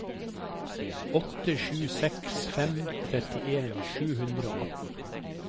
åtte sju seks fem trettien sju hundre og atten